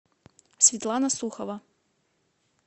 светлана сухова